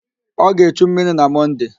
Ọ ga-echu mmiri na Mọnde.